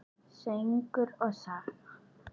Söngur og saga.